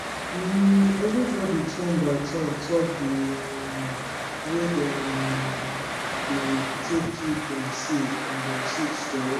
um everybody turn by turn talk de um way dem um dey take keep dem seed and dem seed stori